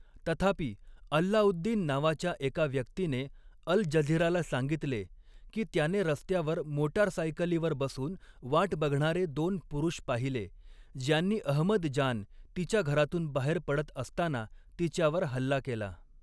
तथापि, अल्लाउद्दीन नावाच्या एका व्यक्तीने अल् जझीराला सांगितले, की त्याने रस्त्यावर मोटारसायकलीवर बसून वाट बघणारे दोन पुरुष पाहिले, ज्यांनी अहमद जान तिच्या घरातून बाहेर पडत असताना तिच्यावर हल्ला केला.